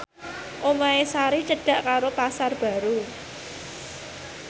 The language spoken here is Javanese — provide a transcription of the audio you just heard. omahe Sari cedhak karo Pasar Baru